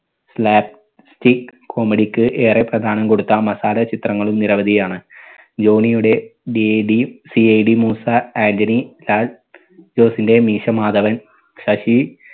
slapstick comedy ക്ക് ഏറെ പ്രധാനം കൊടുത്ത മസാല ചിത്രങ്ങളും നിരവധിയാണ്. ജോണിയുടെ DD CID moosa Antony Lal ജോസിന്റെ മീശ മാധവൻ ശശി